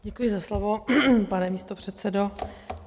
Děkuji za slovo, pane místopředsedo.